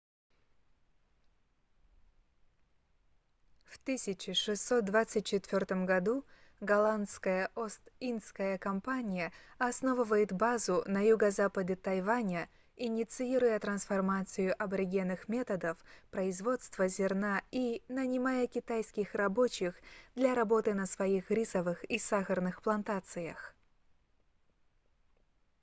в 1624 году голландская ост-индская компания основывает базу на юго-западе тайваня инициируя трансформацию аборигенных методов производства зерна и нанимая китайских рабочих для работы на своих рисовых и сахарных плантациях